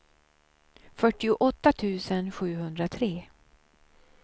fyrtioåtta tusen sjuhundratre